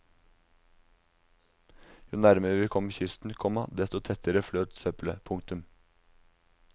Jo nærmere vi kom kysten, komma desto tettere fløt søppelet. punktum